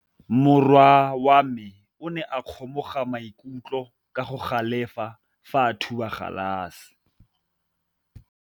Morwa wa me o ne a kgomoga maikutlo ka go galefa fa a thuba galase.